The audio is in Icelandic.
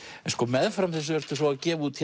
en sko meðfram þessu ertu svo að gefa út